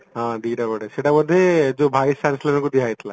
ହଁ ଦିଟା productରେ ସେଟା ବୋଧେ ଯୋଉ vice chancellorଙ୍କୁ ଦିଆଯାଇଥିଲା